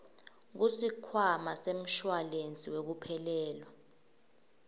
kusikhwama semshuwalensi wekuphelelwa